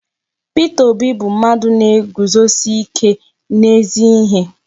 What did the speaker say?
Peter Obi bu mmadu na-eguzosi ike n'ezi ihe